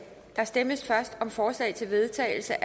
der stemmes først om forslag til vedtagelse